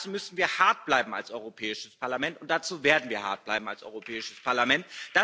Dazu müssen wir hart bleiben als Europäisches Parlament, und dazu werden wir hart bleiben als Europäisches Parlament.